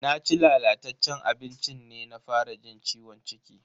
Naci lalataccen abincin ne na fara jin ciwon ciki.